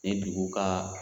Ni dugu ka